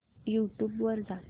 YouTube वर जा